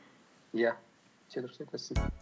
иә өте дұрыс айтасың